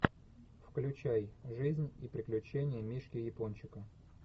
включай жизнь и приключения мишки япончика